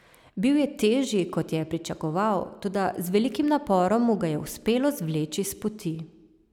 Bil je težji, kot je pričakoval, toda z velikim naporom mu ga je uspelo zvleči spoti.